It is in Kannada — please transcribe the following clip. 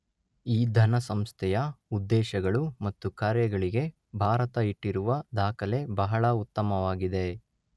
ಈ ಧನ ಸಂಸ್ಥೆಯ ಉದ್ದೇಶಗಳು ಮತ್ತು ಕಾರ್ಯಗಳಿಗೆ ಭಾರತ ಇಟ್ಟಿರುವ ದಾಖಲೆ ಬಹಳ ಉತ್ತಮವಾಗಿದೆ.